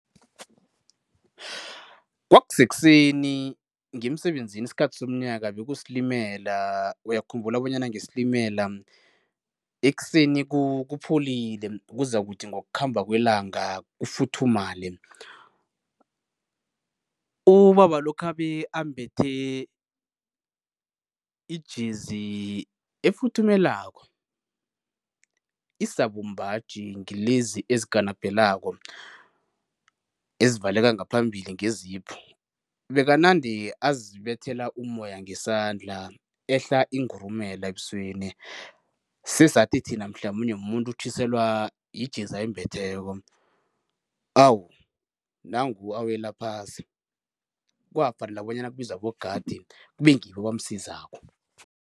Kwakusekuseni ngiya emsebenzini, isikhathi somnyaka bekusilimela, uyakhumbula bonyana ngesilimela ekuseni kupholile kuzakuthi ngokukhamba kwelanga kufuthumale. Ubaba lo khabe ambethe ijezi efuthumelako, isabumbaji, ngilezi ezikanapelako, ezivaleka ngaphambili nge-zip. Bekanande azibethela umoya ngesandla, ehlala ingurumela ebusweni, sesathi thina mhlamunye mumuntu otjhiselwa yijezi ayimbetheko. Awu, nangu awela phasi, kwafanela bonyana kubizwe abogadi, kube ngibo abamsizako.